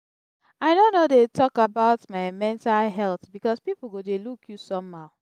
i no no dey talk about my mental health because pipu go dey look you somehow.